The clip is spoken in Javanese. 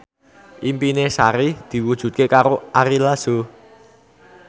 impine Sari diwujudke karo Ari Lasso